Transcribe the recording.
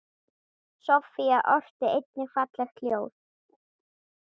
Soffía orti einnig falleg ljóð.